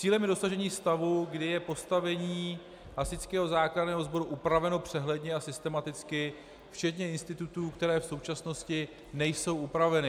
Cílem je dosažení stavu, kdy je postavení Hasičského záchranného sboru upraveno přehledně a systematicky včetně institutů, které v současnosti nejsou upraveny.